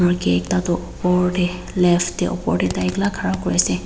Murgi ekta tuh opor dae left dae opor dae tai ekala khara kure ase.